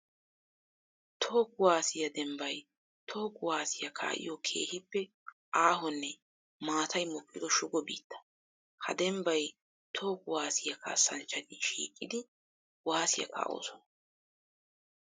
Toho kuwasiya dembbay toho kuwasiya kaa'iyo keehippe aahonne maatay mokkiddo shugo biitta. Ha dembbay toho kuwasiya kaassanchchatti shiiqiddi kuwasiya kaa'osonna.